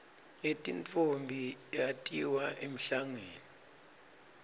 yetintfombi natiya emhlangeni